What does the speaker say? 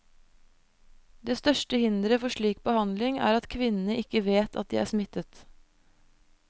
Det største hinderet for slik behandling, er at kvinnene ikke vet at de er smittet.